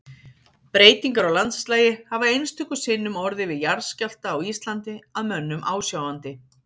Breytingar á landslagi hafa einstöku sinnum orðið við jarðskjálfta á Íslandi að mönnum ásjáandi.